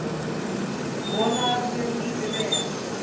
Vona að þér líði vel.